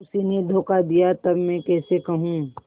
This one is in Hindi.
उसी ने धोखा दिया तब मैं कैसे कहूँ